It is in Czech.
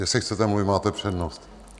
Jestli chcete mluvit, máte přednost.